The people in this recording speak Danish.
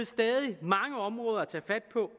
stadig mange områder at tage fat på